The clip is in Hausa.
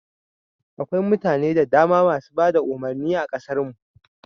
Akwai mutane da dama masu bada umurnin a kasar mu